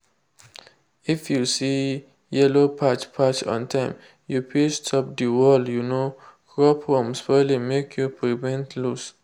if you see yellow patch patch on time you fit stop the whole um crop from spoiling make you prevent loss.